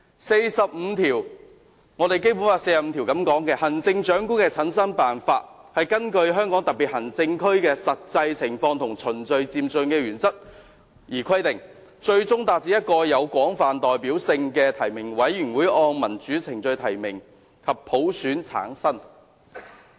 《基本法》第四十五條訂明，"行政長官的產生辦法根據香港特別行政區的實際情況和循序漸進的原則而規定，最終達至由一個有廣泛代表性的提名委員會按民主程序提名後普選產生的目標。